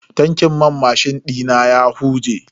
Tankin man mashin dina ya huje.